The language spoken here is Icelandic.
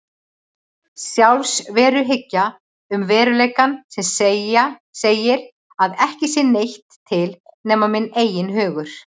Sjálfsveruhyggja um veruleikann sem segir að ekki sé neitt til nema minn eigin hugur.